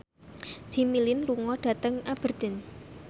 Jimmy Lin lunga dhateng Aberdeen